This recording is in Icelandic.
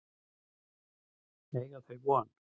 Eiga þau von?